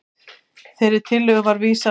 Þeirri tillögu var vísað frá